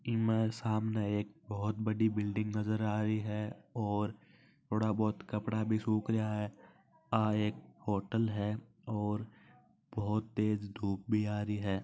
इ म सामने एक बहुत ही बड़ी बिल्डिंग दिख रही है और थोडा बहुत कपड़ा भी सुख रहा है यह एक होटल है और बहुत तेज धुप भि आ रही है।